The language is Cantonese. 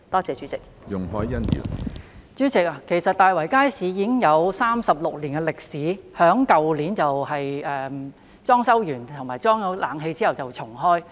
主席，其實大圍街市已有36年歷史，並於去年完成裝修和安裝冷氣後重開。